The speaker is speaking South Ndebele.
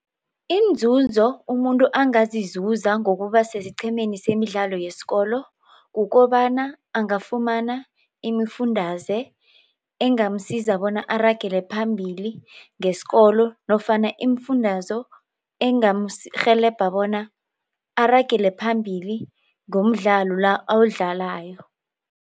Iinzunzo umuntu angazizuza ngokuba sesiqhemeni semidlalo yesikolo kukobana angafumana imifundaze engamsiza bona aragele phambili ngesikolo nofana iimfundazo rhelebha bona aragele phambili ngomdlalo la awudlalako.